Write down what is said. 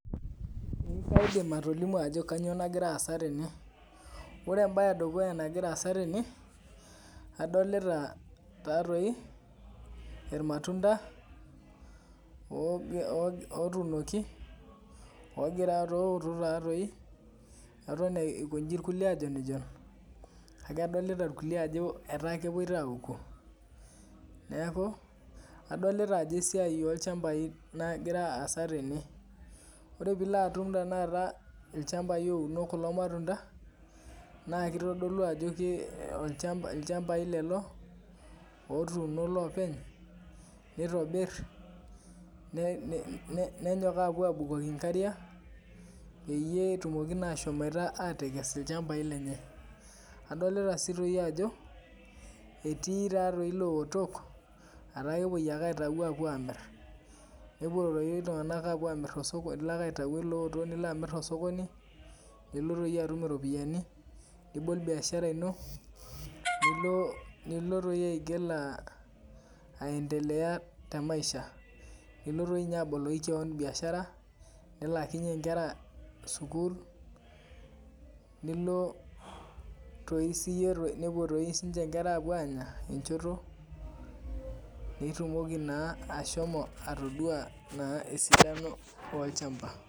Ee kaidim atolimu ajo kainyoo nagira aasa tene. Ore embaye e dukuya nagira aasa tene, adolita taadoi, ilmatunda otuunoki ooto taadei, eton eikonji ilkulie ajonijon, kake adolita ilkulie ajo ketaa epuoita aoku. Neaku, adolita ajo esiai olchambai nagira aasa tene. Ore tenilo atum tenakata ilchambai ouno kulo matunda, naa keitodolu ajo ilchambai lelo, otuuno iloopeny, neitobir, nenyok aapuo aabukoki inkariak, peyie etumoki naa ashomoita atekees ilchambai lenye, adolita sii toi ajo, etii taa toi lootok, ataa kewoi ake aitayu apuo aamkir, nepuo toi iltung'ana apuo amir te sokoni, ilo ake alo aitayu ilooto nilo ake amir te sokoni, nilop toi atum iropiani, nibol biashara ino, nilo toi aigil aendelea te maisha, nilo doi aboloki ninye kewan biashara, nilaakinye inkera sukuul, nepuo toi siininche inkera apuo aanya, enchoto, nitumoki naa ashomo naa atodua naa esidano olchamba.